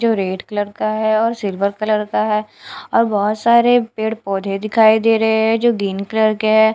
जो red colour का है और सिल्वर कलर का है और बहुत सारे पेड़ पौधे दिखाई दे रहे है जो ग्रीन कलर के है।